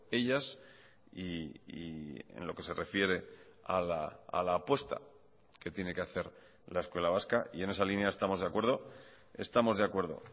ellas y en lo que se refiere a la apuesta que tiene que hacer la escuela vasca y en esa línea estamos de acuerdo estamos de acuerdo